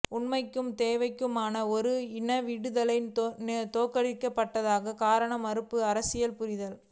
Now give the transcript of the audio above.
உண்மைக்கும் தேவைக்குமான ஒருஇனவிடுதலை தோற்கடிக்கப் பட்டதற்கான காரணம் மறுக்கப்பட்டஅரசியல் புரிதல்